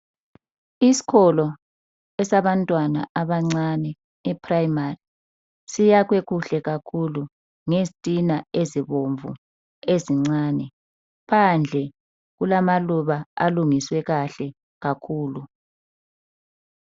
Isikolo esabantwana abancane eprimary, siyakhwe kuhle kakhulu ngezitina ezibomvu ezincane. Phandle kulamaluba alungiswe kahle kakhulu.